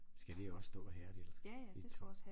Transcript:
Skal det også stå og hærde lidt i